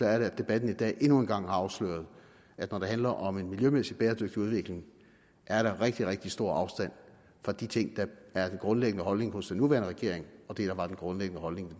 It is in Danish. at debatten i dag endnu en gang har afsløret at når det handler om en miljømæssig bæredygtig udvikling er der rigtig rigtig stor afstand fra de ting der er den grundlæggende holdning hos den nuværende regering og det der var den grundlæggende holdning